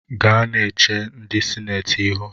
Gaa na-eche ndị sinetị ihu